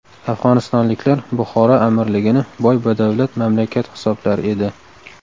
Afg‘onistonliklar Buxoro amirligini boy-badavlat mamlakat hisoblar edi.